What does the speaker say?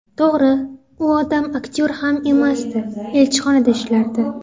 To‘g‘ri, u odam aktyor ham emasdi, elchixonada ishlardi.